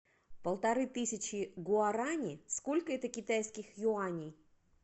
полторы тысячи гуарани сколько это китайских юаней